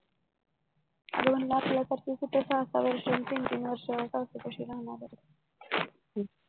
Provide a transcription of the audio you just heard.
कूट सहा सहा वर्षे अन तीन तीन सासू पाशी राहणार आहे